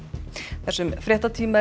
þessum fréttatíma er